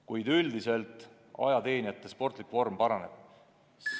Kuid üldiselt ajateenijate sportlik vorm paraneb.